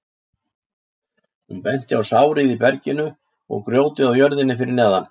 Hún benti á sárið í berginu og grjótið á jörðinni fyrir neðan.